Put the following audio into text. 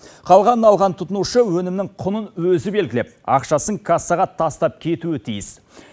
қалғанын алған тұтынушы өнімнің құнын өзі белгілеп ақшасын кассаға тастап кетуі тиіс